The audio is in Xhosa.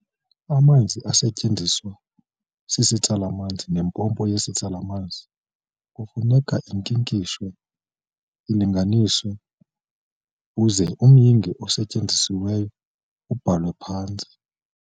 Amanzi asetyenziswa sisitsala-manzi neempompo yesitsala-manzi kufuneka ankinkishwe alinganiswe uze umyinge osetyenzisiweyo ubhalwe phantsi.